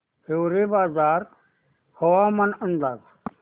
हिवरेबाजार हवामान अंदाज